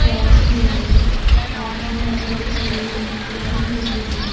Parts अवे आदमी ओरटे खड़ी हुई है लाइट लगी हुई है।